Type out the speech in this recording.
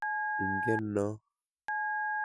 Inget noo?